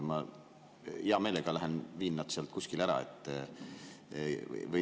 Ma hea meelega lähen ja viin nad sealt kuskile ära.